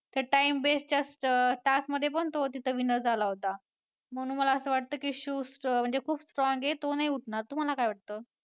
तर time best च्या task मध्ये पण तो तिथं winner झाला होता म्हणून मला असं वाटतं की शिव म्हणजे खूप strong आहे तो नाही उठणार म्हणजे तुम्हाला काय वाटतं?